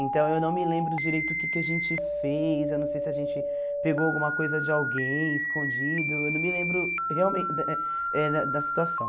Então eu não me lembro direito o que que a gente fez, eu não sei se a gente pegou alguma coisa de alguém escondido, eu não me lembro realmente eh da situação.